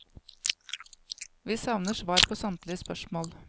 Vi savner svar på samtlige spørsmål.